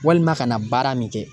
Walima ka na baara min kɛ